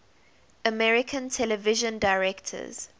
american television directors